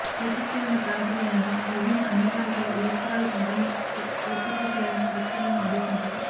court stay ఉన్న ప్రాంతాల్లో మినహా మిగిలిన అన్ని ప్రాంతాల్లో ఇళ్ల స్థలాలు పంపిణీకి ఏర్పాట్లు చేయాలని కలెక్టర్లను ఆదేశించారు